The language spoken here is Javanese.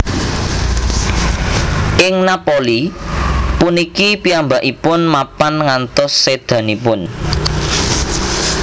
Ing Napoli puniki piyambakipun mapan ngantos sédanipun